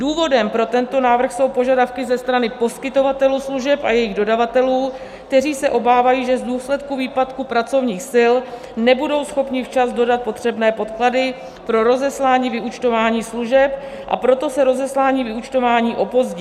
Důvodem pro tento návrh jsou požadavky ze strany poskytovatelů služeb a jejich dodavatelů, kteří se obávají, že v důsledku výpadku pracovních sil nebudou schopni včas dodat potřebné podklady pro rozeslání vyúčtování služeb, a proto se rozeslání vyúčtování opozdí.